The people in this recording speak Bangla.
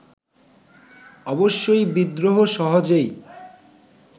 অবশ্যই বিদ্রোহ সহজেই